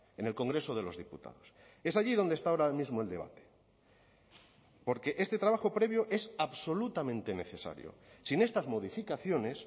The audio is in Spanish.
en el congreso de los diputados es allí donde está ahora mismo el debate porque este trabajo previo es absolutamente necesario sin estas modificaciones